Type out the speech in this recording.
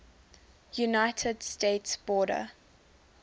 united states border